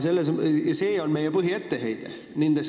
See on meie põhietteheide.